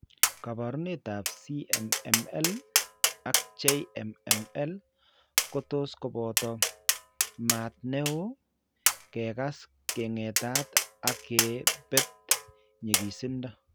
Kaabarunetap CMML ak JMML ko tos kobot mat ne oo, ke kas keng'etat ak ke bet ny'igisindo.